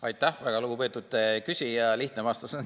Aitäh, väga lugupeetud küsija!